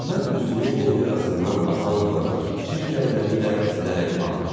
Məhəmməd üzünün yeni yarasından axan qanı çirk əlləri ilə silərək ağladı.